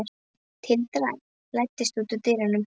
Tildra, læstu útidyrunum.